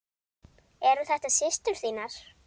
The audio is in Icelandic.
Eru þetta systur þínar?